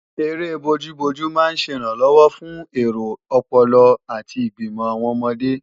Eré bojú-bojú máa ń ṣẹ ìrànlọ́wọ́ fún èro ọpọlọ àti ìgbìmò àwọn ọmọdé